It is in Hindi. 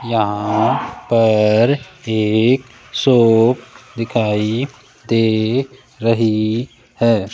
यहां पर एक शोप दिखाई दे रही है।